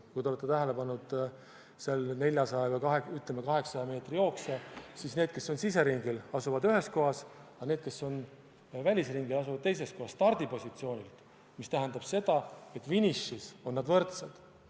Kui te olete tähele pannud 400 või 800 meetri jooksu, siis teate, et need, kes on siseringil, asuvad ühes kohas, aga need, kes on välisringil, asuvad teises kohas stardipositsioonil, mis tähendab seda, et finišis on nad võrdsed.